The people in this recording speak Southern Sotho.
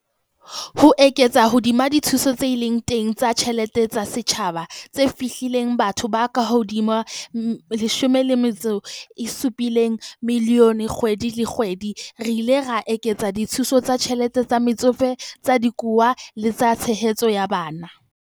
Ho eketsa hodima dithuso tse seng di le teng tsa ditjhe lete tsa setjhaba, tse fihlellang bathong ba kahodimo ho 17 milione kgwedi le kgwedi, re ile ra eketsa dithuso tsa ditjhelete tsa Metsofe, tsa Dikowa le tsa Tshehetso ya Bana.